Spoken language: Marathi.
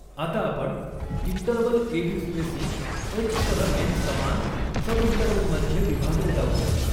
आता आपण इंटरवल एबी स्पेसिंग एच सह एन समान सबइंटरवल मध्ये विभागले जाऊ द्या.